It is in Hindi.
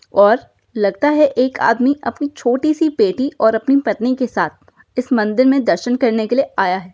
और लगता है एक आदमी अपनी छोटी सी बेटी और अपनी पत्नी के साथ इस मंदिर में दर्शन करने के लिए आया है।